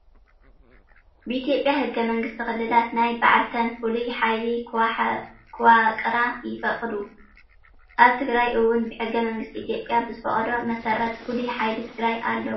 ብኢትዮጵያ ህገ መንግሰቲ ክልላት ናይ ባዕልተን ፍሉይ ሓይሊ ከዋቅራ ይፈቅድ። ኣብ ትግራይ እውን ብህገ መንግስቲ ኢትዮጵያ ብዝፈቅዶ መሰረት ፍሉይ ሓይሊ ትግራይ አለውዋ።